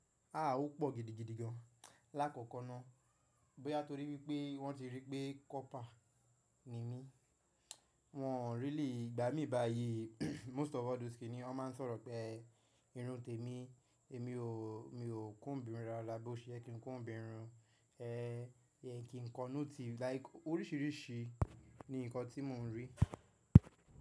A ó pọ̀ gidigidi gan lákòókò ná. Bóyá torí wípé wọ́n ti rí pé copper ni mí, wọ́n ò really igbá mi báyi. Most of all those ni wọ́n máa ń sọ̀rọ̀ pé irun tè mi, èmi o, mi ò comb irun yẹn dáadáa bó ṣe yẹ kí n comb irun yẹn, mí n kì kọ note like orísìírísìí ni nǹkan tí mò ń rí.